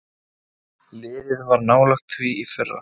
Liðið var nálægt því í fyrra.